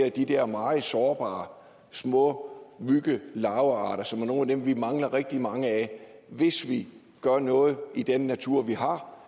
af de der meget sårbare små myggelarvearter som jo er nogle af dem vi mangler rigtig mange af hvis vi gør noget i den natur vi har